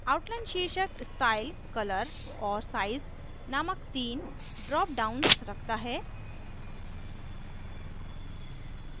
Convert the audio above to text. outline शीर्षक style color और size नामक 3 ड्राप डाउन्स रखता है